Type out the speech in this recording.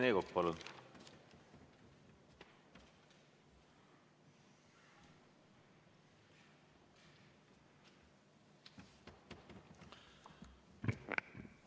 Rene Kokk, palun!